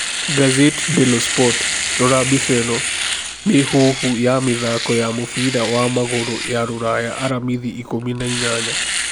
(Gazzetta dello Sport) Rora mbica ĩno: Mĩhuhu ya mĩthaako ya mũbira wa magũrũ ya rũraya aramithi 18.